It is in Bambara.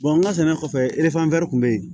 an ka sɛnɛ kɔfɛ bɛ yen